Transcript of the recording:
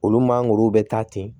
Olu mangoro bɛ taa ten